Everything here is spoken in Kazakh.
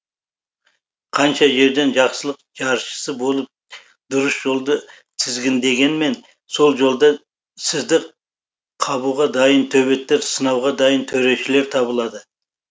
қанша жерден жақсылық жаршысы болып дұрыс жолды тізгіндегенмен сол жолда сізді қабуға дайын төбеттер сынауға дайын төрешілер табылады